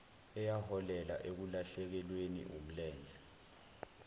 eyaholela ekulahlekelweni wumlenze